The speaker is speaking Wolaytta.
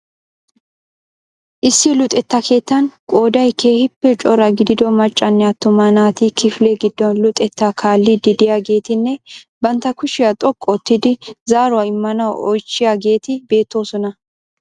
Issi luxetta keettan qooday keehiipe cora gidido maccanne atuma naati kifile gidon luxettaa kaalidi de'iyaageetinne bantta kushshiya xoqqu oottidi zaaruwaa immanawu oychchiyaageeti beettoosona.